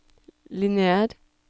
lineær